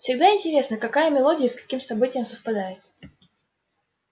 всегда интересно какая мелодия и с каким событием совпадёт